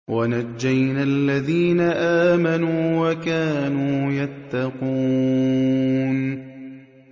وَنَجَّيْنَا الَّذِينَ آمَنُوا وَكَانُوا يَتَّقُونَ